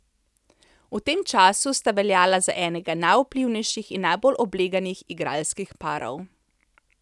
V tem času sta veljala za enega najvplivnejših in najbolj obleganih igralskih parov.